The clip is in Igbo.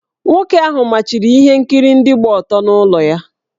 Nwoke ahụ machiri ihe nkiri ndị gba ọtọ n’ụlọ ya.